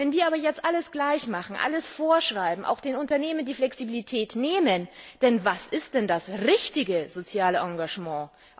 Wenn wir aber jetzt alles gleich machen, alles vorschreiben, auch den Unternehmen die Flexibilität nehmen denn was ist denn das richtige soziale Engagement?